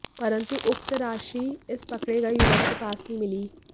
परंतु उक्त राशि इस पकड़े गए युवक के पास नहीं मिली